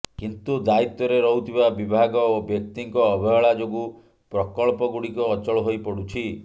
କିନ୍ତୁ ଦାୟିତ୍ୱରେ ରହୁଥିବା ବିଭାଗ ଓ ବ୍ୟକ୍ତିଙ୍କ ଅବହେଳା ଯୋଗୁଁ ପ୍ରକଳ୍ପଗୁଡ଼ିକ ଅଚଳ ହୋଇପଡୁଛି